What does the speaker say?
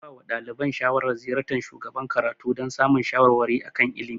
An ba wa ɗaliban shawaran ziyartar shugaban karatu dan samun shawarwari a kan ilimi